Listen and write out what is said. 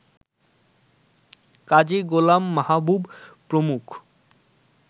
কাজী গোলাম মাহবুব প্রমুখ